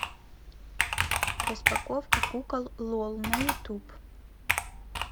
распаковка кукол лол на ютуб